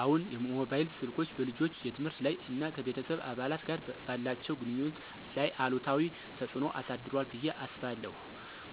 አዎን፣ ሞባይል ስልኮች በልጆች የትምህርት ላይ እና ከቤተሰብ አባላት ጋር ባላቸው ግንኙነት ላይ አሉታዊ ተጽዕኖ አሳድሯል ብዬ አስባለሁ።